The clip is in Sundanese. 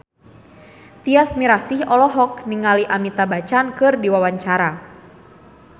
Tyas Mirasih olohok ningali Amitabh Bachchan keur diwawancara